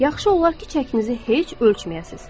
Yaxşı olar ki, çəkinizi heç ölçməyəsiz.